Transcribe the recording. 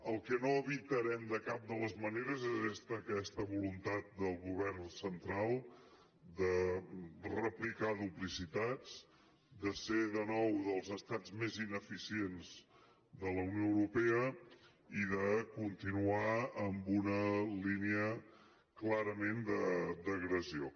el que no evitarem de cap de les maneres és aquesta voluntat del govern central de replicar duplicitats de ser de nou dels estats més ineficients de la unió europea i de continuar amb una línia clarament d’agressió